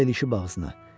O da ilişib ağzına.